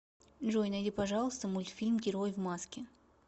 джой найди пожалуйста мультфильм герой в маске